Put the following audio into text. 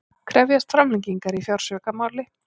Krefjast framlengingar í fjársvikamáli